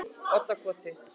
Oddakoti